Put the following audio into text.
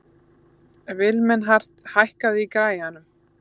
Vilmenhart, hækkaðu í græjunum.